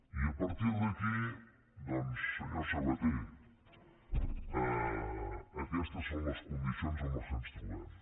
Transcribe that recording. i a partir d’aquí doncs senyor sabaté aquestes són les condicions amb què ens trobem